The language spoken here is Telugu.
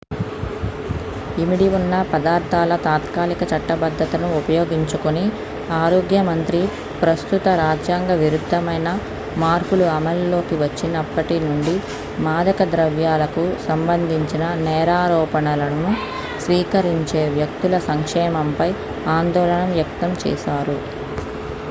ఇమిడి ఉన్న పదార్థాల తాత్కాలిక చట్టబద్ధతను ఉపయోగించుకుని ఆరోగ్య మంత్రి ప్రస్తుత రాజ్యాంగ విరుద్ధమైన మార్పులు అమల్లోకి వచ్చినప్పటి నుండి మాదక ద్రవ్యాలకు సంబంధించిన నేరారోపణలను స్వీకరించే వ్యక్తుల సంక్షేమంపై ఆందోళన వ్యక్తం చేశారు